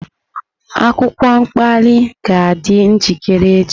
Akwụkwọ mkpali ga-adị njikere echi.